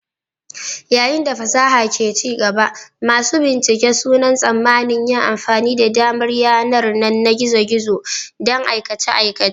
Yayin da fasaha ke ci gaba, masu bincike suna tsammanin yin amfani da damar yanar na gizo-gizo don aikace-aikacen